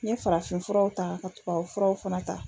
N ye farafinfuraw ta ka tubabufuraw fana ta